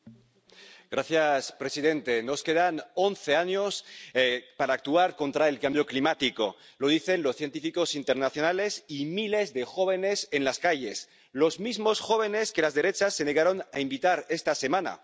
Señor presidente, nos quedan once años para actuar contra el cambio climático, lo dicen los científicos internacionales y miles de jóvenes en las calles, los mismos jóvenes que las derechas se negaron a invitar esta semana.